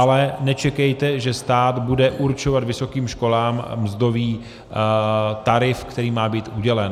Ale nečekejte, že stát bude určovat vysokým školám mzdový tarif, který má být udělen.